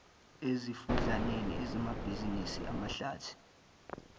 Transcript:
emifudlaneni ezamabhizinisi amahlathi